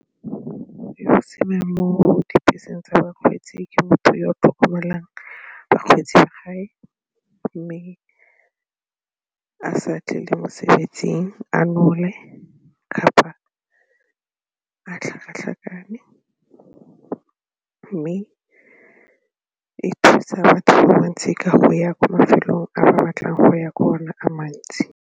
mo dibeseng tsa bakgweetsi ke motho yo tlhokomelang bakgweetsi ba gae mme a sa tle le mosebetsing a nole a tlhakatlhakane mme e thusa batho ka bontsi ka go ya kwa mafelong a batlang go ya ko go ona a mantsi.